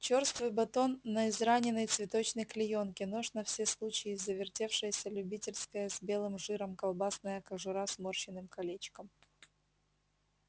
чёрствый батон на израненной цветочной клеёнке нож на все случаи завертевшаяся любительская с белым жиром колбасная кожура сморщенным колечком